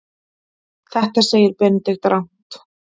Þetta segir Benedikt rangt.